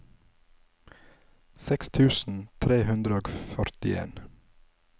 seks tusen tre hundre og førtien